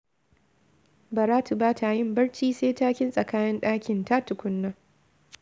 Baratu ba ta yin barci sai ta kintsa kayan ɗakinta tukuna